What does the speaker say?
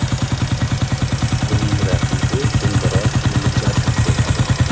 Uning raqibi Dilmurod Mijitov bo‘ladi.